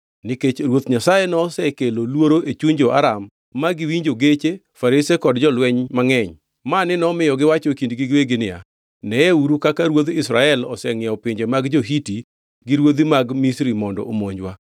nikech Ruoth Nyasaye nosekelo luoro e chuny jo-Aram ma giwinjo geche, farese kod jolweny mangʼeny, mani nomiyo giwacho e kindgi giwegi niya, “Neyeuru kaka ruodh Israel osengʼiewo pinje mag jo-Hiti gi ruodhi mag Misri mondo omonjwa!”